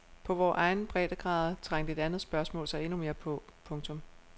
På vore egne breddegrader trængte et andet spørgsmål sig endnu mere på. punktum